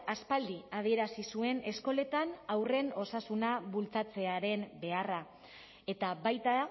aspaldi adierazi zuen eskoletan haurren osasuna bultzatzearen beharra eta baita